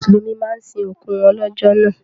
Mùsùlùmí máa ń sin òkú wọn lọ́jọ́ náà